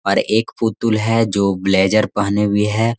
और एक पुतुल है जो ब्लेज़र पहने हुए है।